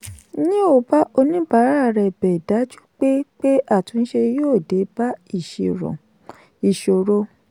neo bá oníbàárà rẹ bẹ dájú pé pé àtúnṣe yóò dé bá ìṣòro.